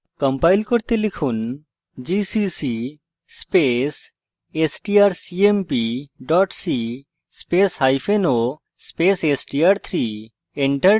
compile করতে লিখুন gcc space strcmp c spaceo space str3